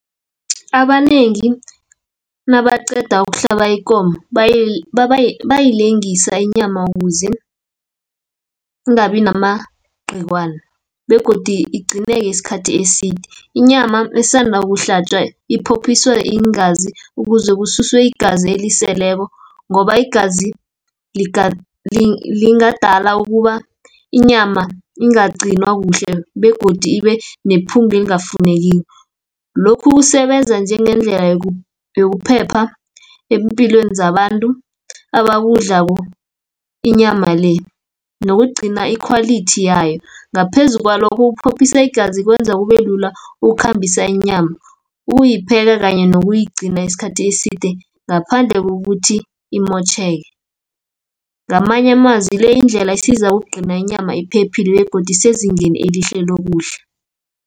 Abanengi nabaqeda kuhlaba ikomo, bayilengisa inyama kuze ingabi namagciwane, begodu igcineke isikhathi eside. Inyama esanda ukuhlatjwa iphophiswa iingazi, ukuze kususwe igazi eliseleko, ngoba igazi lingadala ukuba inyama ingaqcinwa kuhle begodi ibenephunge elingafunekiko. Lokhu kusebenza njengendlela yokuphepha empilweni zabantu abakudlako [? inyama le, nokugcina ikhwalithi yayo. Ngaphezu kwalokho ukuphophisa igazi kwenza kubelula ukukhambisa inyama, ukuyipheka, kanye nokuyigcina isikhathi eside, ngaphandle kokuthi imotjheke. Ngamanye amazwi le yindlela isiza ukugcina inyama iphephile, begodu isezingeni elihle lokudla.